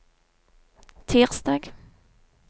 tirsdag